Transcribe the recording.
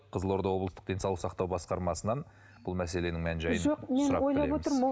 қызылорда облыстық денсаулық сақтау басқармасынан бұл мәселенің мән жайын сұрап білеміз